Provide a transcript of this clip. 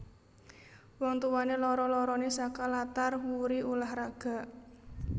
Wong tuwané loro loroné saka latar wuri ulah raga